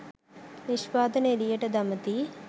නිෂ්පාදන එළියට දමති